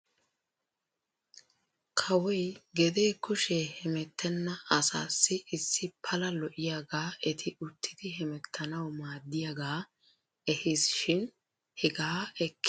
Kawoy gedee kushee hemettenna asaassi issi pala lo'iyaagaa eti uttidi hemettanaw maaddiyaagaa ehis shin hegaa ekkida naati ay keenaa ufayttidonaashsha?